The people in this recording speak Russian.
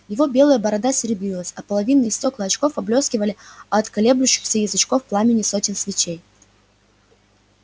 его белая борода серебрилась а половинные стёкла очков поблескивали от колеблющихся язычков пламени сотен свечей